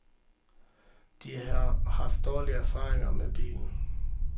De har haft dårlige erfaringer med bilen.